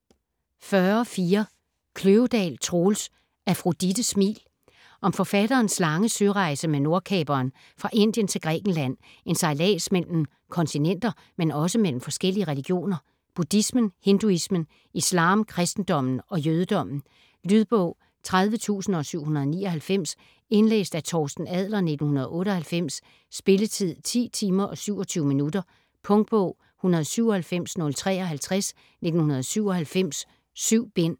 40.4 Kløvedal, Troels: Afrodites smil Om forfatterens lange sørejse med Nordkaperen fra Indien til Grækenland, en sejlads mellem kontinenter, men også mellem forskellige religioner: buddhismen, hinduismen, islam, kristendommen og jødedommen. Lydbog 30799 Indlæst af Torsten Adler, 1998. Spilletid: 10 timer, 27 minutter. Punktbog 197053 1997. 7 bind.